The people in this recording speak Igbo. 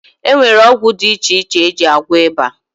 E nwere ọgwụ dị iche iche e ji agwọ ịba